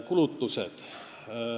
Kulutused.